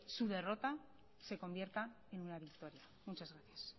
su derrota se convierta en una victoria muchas gracias